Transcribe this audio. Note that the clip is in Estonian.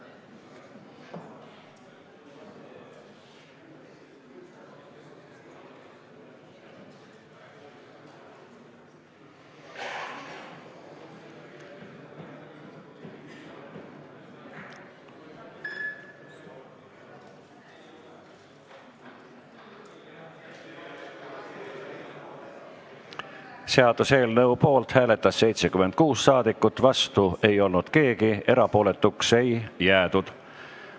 Hääletustulemused Seaduseelnõu poolt hääletas 76 saadikut, vastu ei olnud keegi, erapooletuks ei jäädud.